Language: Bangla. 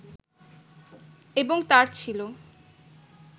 এবং তাঁর ছিল